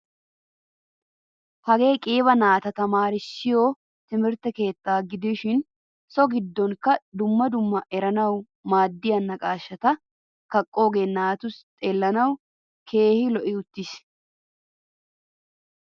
Hagee qiiba naata tamaarissiyo timirtte keettaa gidishin so giddonkka dumma dumma eranawu maadiyaa naqashshata kaqoge naati xellanawu keehin lo'i uttiis.